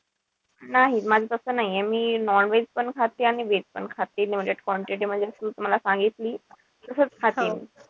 नाही माझं तस नाहीये मी non-veg पण खाते आणि veg पण खाते. Limited quantity मध्ये जस तू मला सांगितली तसेच खाते.